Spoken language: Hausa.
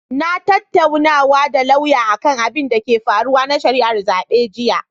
Na tattaunawa da lauyan akan abinda ke faruwa na shari'ar zaɓe jiya.